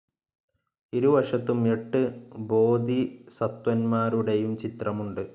ഇരുവശത്തും എട്ട് ബോധിസത്ത്വന്മാരുടെയും ചിത്രമുണ്ട്.